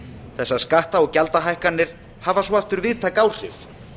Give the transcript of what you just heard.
þessar skatta og gjaldahækkanir hafa svo aftur víðtæk áhrif